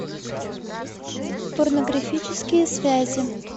порнографические связи